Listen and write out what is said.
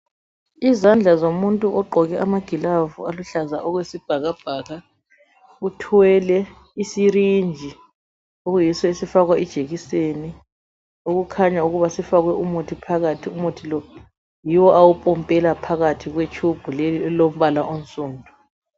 izandla zomuntu ogqoke amagilavu aluhlaza okwesibhakabhaka uthwele isyringe okuyiso esofakwa ijekiseni okukhanya ukuba sifakwe umuthi phakathi umuthi lo yiwo awupombela phakathi kwe tube leyi elombala onsundu